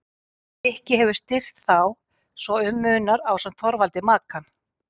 Rikki hefur styrkt þá svo um munar ásamt Þorvaldi Makan.